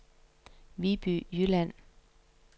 Viby Jylland